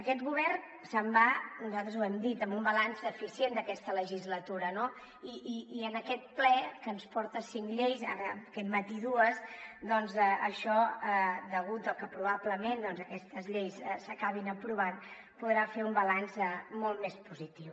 aquest govern se’n va nosaltres ho hem dit amb un balanç deficient d’aquesta legislatura no i en aquest ple que ens porta cinc lleis ara aquest matí dues doncs això degut a que probablement aquestes lleis s’acabin aprovant podrà fer un balanç molt més positiu